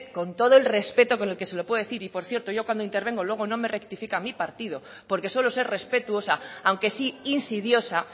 con todo el respeto que se lo puedo decir y por cierto yo cuando intervengo luego no me rectifica mi partido porque suelo ser respetuosa aunque sí insidiosa